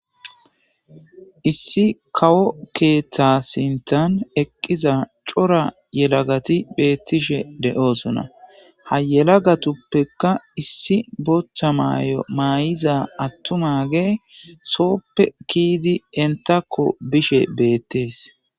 Issi kawo keeththa sinthan eqqiza cora yelagati beettishe de7oosona. Ha yelagatuppekka issi booththa maayo ma7iza attumaage sooppe ke7idi entakko bishe beettees.